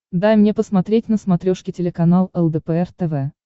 дай мне посмотреть на смотрешке телеканал лдпр тв